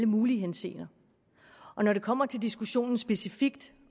mulige henseender og når det kommer til diskussionen specifikt